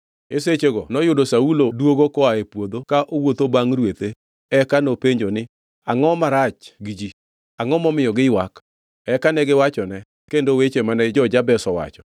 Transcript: E sechego noyudo Saulo duogo koa e puodho ka owuotho bangʼ rwethe eka nopenjo ni, Angʼo marach gi ji? Angʼo momiyo giywak? Eka negiwachone kendo weche mane jo-jabesh owacho.